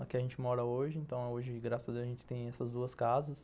Aqui a gente mora hoje, então hoje graças a Deus a gente tem essas duas casas.